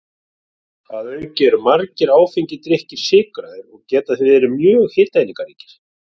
Að auki eru margir áfengir drykkir sykraðir og geta því verið mjög hitaeiningaríkir.